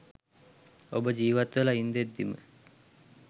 ඔබ ජීවත් වෙලා ඉන්දැද්දිම